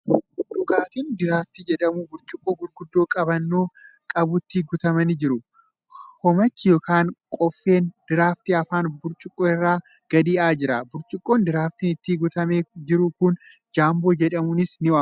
Dhugaatiin diraaftii jedhamu burcuqqoo gurguddaa qabannoo qabutti guutamanii jiru. Hoomachi yookan qoffeen diraaftii afaan burcuqqoo irraan gadi yaa'aa jira. Burcuqqoon diraaftiin itti guutamee jiru kun jaamboo jedhamuunis ni waamama .